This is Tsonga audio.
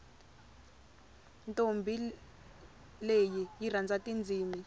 ntombhi leyi yi rhandza tindzimi